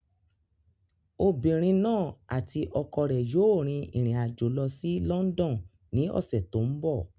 Obìnrin náà àti ọkọ rẹ̀ yóò rin ìrìn àjò lọ sí London ní ọ̀sẹ̀ tó ń bọ̀.